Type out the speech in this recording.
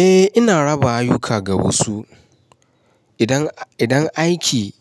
Eh ina raba ayuka ga wasu. Idan, idan aiki